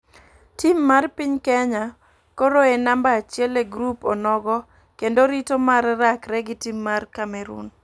Tim mar piny kenya koro e namba achiel e grup onogo kendo rito mar rakke gi tim mar cameroon.